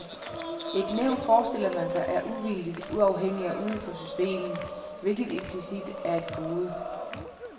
Et nævn, forestiller man sig, er uvildigt, uafhængigt og uden for systemet, hvilket implicit er et gode.